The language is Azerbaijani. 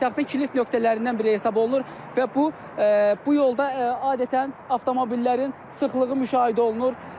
Paytaxtın kilid nöqtələrindən biri hesab olunur və bu bu yolda adətən avtomobillərin sıxlığı müşahidə olunur.